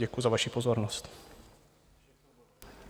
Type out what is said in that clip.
Děkuji za vaši pozornost.